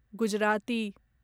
Gujarati